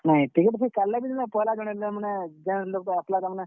Ticket ଫିକେଟ୍ କାଟ୍ ଲେ ବି ତମେ ପହେଲା ଦିନ ତାର୍ ମାନେ ଜେନ୍ ଲୋକ୍ ଟେ ଆସ୍ ଲେ ତାର୍ ମାନେ।